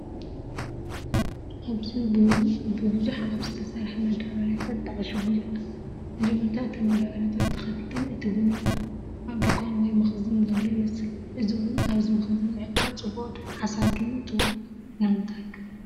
ኣብዚ ቡን ብብዙሕ ኣብ ዝተሰርሐ መዳበርያታት ተዓሺጉ ይርአ። መጀመርታ እተን መዳበርያታት ተኸፊተን እቲ ቡን ይርአ፤ ኣብ ድኳን ወይ መኽዘን ዘሎ ይመስል። እዚ ቡን ኣብዚ መኽዘን ምዕቃብ ጽቡቕ ሓሳብ ድዩ ትብሉ? ንምንታይ?